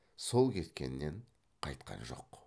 сол кеткеннен қайтқан жоқ